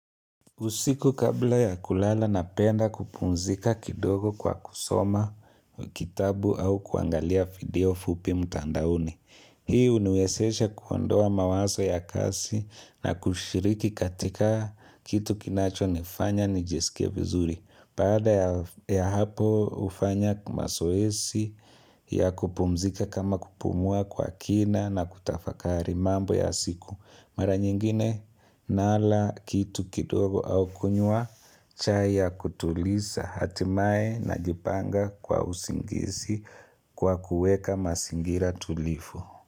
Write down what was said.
Usiku kabla ya kulala napenda kupumzika kidogo kwa kusoma kitabu au kuangalia video fupimu mtandaoni. Hii huniwezesha kuondoa mawazo ya kazi na kushiriki katika kitu kinacho nifanya nijisike vizuri. Baada ya hapo hufanya mazoezi ya kupumzika kama kupumua kwa kina na kutafakari mambo ya siku. Mara nyingine nala kitu kitogo au kunywa chai ya kutulisa hatimaye najipanga kwa usingizi kwa kuweka masingira tulivu.